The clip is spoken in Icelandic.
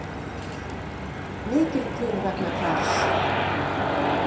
Mikill kurr vegna Kjarrs